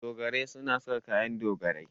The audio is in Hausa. Dogarai suna sa kayan dogarai.